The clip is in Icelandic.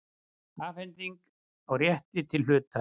Afhending á rétti til hlutar.